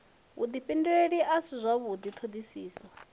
vhudifhinduleli a si zwavhudi thodisiso